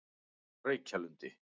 Reykjalundi